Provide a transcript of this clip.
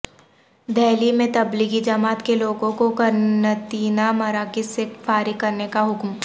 دہلی میں تبلیغی جماعت کے لوگوں کو قرنطینہ مراکز سے فارغ کرنے کا حکم